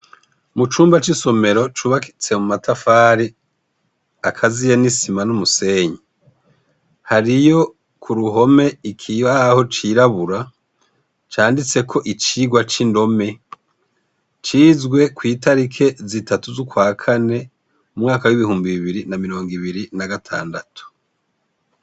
Mu cumba c'isomero cubakitse mu matafari akaziye n'isima n'umusenyi hariyo ku ruhome ikibaho cirabura canditseko icigwa c'indome cizwe kw'itariki zitatu z'ukwakane mu mwaka w'ibihumbi bibiri na mirongo ibiri na gatandatu.